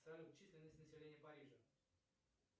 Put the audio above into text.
салют численность населения парижа